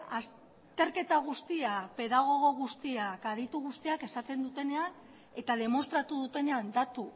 azterketa guztiak pedagogo guztiak aditu guztiak esaten dutenean eta demostratu dutenean datu